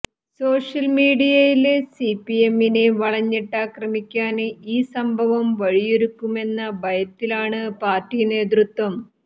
സോഷ്യല്മീഡിയയില് സിപിഎമ്മിനെ വളഞ്ഞിട്ടാക്രമിക്കാന് ഈ സംഭവം വഴിയൊരുക്കുമെന്ന ഭയത്തിലാണ് പാര്ട്ടി നേതൃത്വം